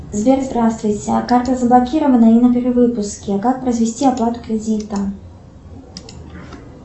сбер здравствуйте карта заблокирована и на перевыпуске как произвести оплату кредита